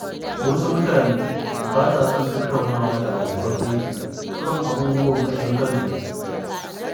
Wasu mutanen ba sa son tattaunawa da abokan aiki kan abubuwan ƙashin kansu.